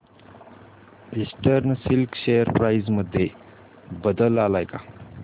eastern silk share price मध्ये बदल आलाय का